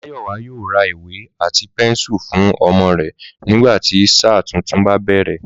Máyòwá yóò ra ìwé àti pénsù fún omo rè nígbà tí sáà tuntun bá bèrè